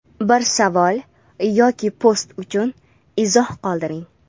Biror savol yoki post uchun izoh qoldiring.